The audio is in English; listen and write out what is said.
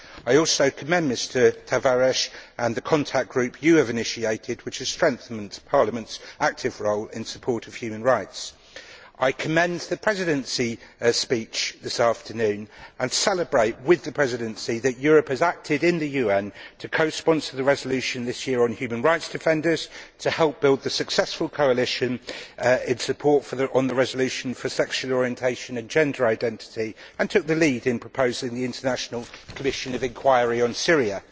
I also commend Mr Tavares and the contact group you have initiated, which has strengthened Parliament's active role in support of human rights. I commend the Presidency speech this afternoon and celebrate with the Presidency the fact that Europe has acted in the UN to co sponsor the resolution this year on human rights defenders and to help build the successful coalition in support of the resolution for sexual orientation and gender identity, and has taken the lead in proposing the International Commission of Inquiry on Syria.